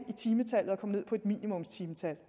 timetallet og komme ned på minimumstimetal